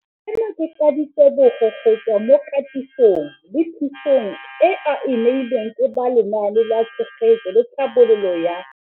Seno ke ka ditebogo go tswa mo katisong le thu song eo a e neilweng ke ba Lenaane la Tshegetso le Tlhabololo ya.